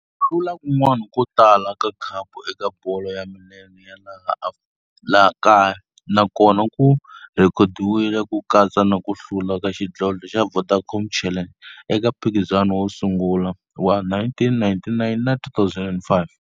Hlula kun'wana ko tala ka khapu eka bolo ya milenge ya laha kaya na kona ku rhekhodiwile, ku katsa na ku hlula ka xidlodlo xa Vodacom Challenge eka mphikizano wo sungula wa 1999 na 2005.